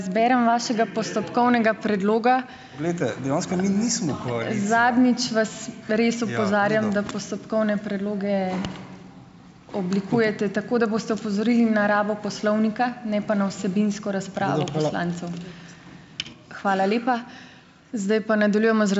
Glejte, dejansko mi nismo.